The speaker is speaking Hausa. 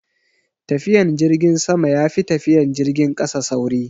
Tafiyan jirgin sama yafi tafiyan jirgin kasa sauri